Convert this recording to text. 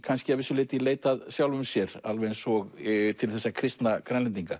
kannski að vissu leyti í leit að sjálfum sér alveg eins og til þess að kristna Grænlendinga